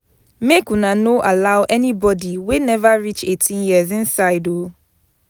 Make una no allow anybodi wey neva reach eighteen years inside o.